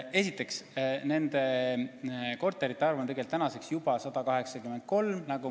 Esiteks, nende korterite arv on tegelikult tänaseks juba 183.